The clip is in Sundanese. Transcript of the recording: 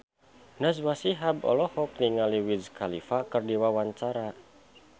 Najwa Shihab olohok ningali Wiz Khalifa keur diwawancara